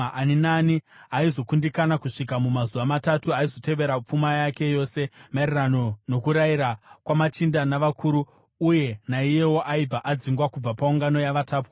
Ani naani aizokundikana kusvika mumazuva matatu aizotorerwa pfuma yake yose, maererano nokurayira kwamachinda navakuru, uye naiyewo aibva adzingwa kubva paungano yavatapwa.